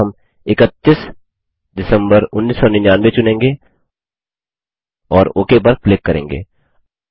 यहाँ हम 31 डीईसी 1999 चुनेंगे और ओक पर क्लिक करेंगे